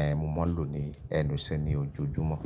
ẹ́ mo máa ń lò ní ẹnu iṣẹ́ ní ojoojúmọ́